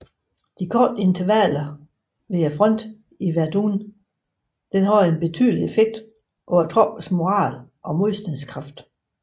De korte intervaller ved fronten i Verdun havde en tydelig effekt på troppernes moral og modstandskraft